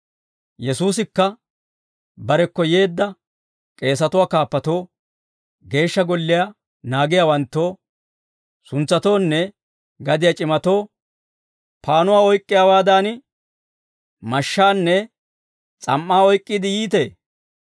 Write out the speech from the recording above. Yesuusikka barekko yeedda k'eesatuwaa kaappatoo, geeshsha golliyaa naagiyaawanttoo, suntsatoonne gadiyaa c'imatoo, «Paannuwaa oyk'k'iyaawaadan mashshaanne s'am"aa oyk'k'iide yiitee?